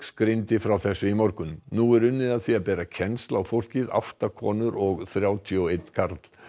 greindi frá þessu í morgun nú er unnið að því að bera kennsl á fólkið átta konur og þrjátíu og einn karl